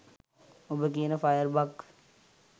ඔබ කියන fire bug